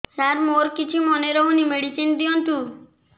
ସାର ମୋର କିଛି ମନେ ରହୁନି ମେଡିସିନ ଦିଅନ୍ତୁ